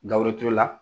Gawo turu la